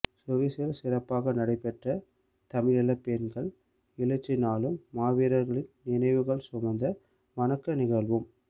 சுவிசில் சிறப்பாக நடைபெற்ற தமிழீழ பெண்கள் எழுச்சி நாளும் மாவீரர்களின் நினைவுகள் சுமந்த வணக்க நிகழ்வும்